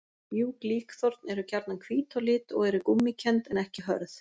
Mjúk líkþorn eru gjarnan hvít á lit og eru gúmmíkennd en ekki hörð.